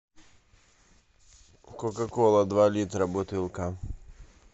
кока кола два литра бутылка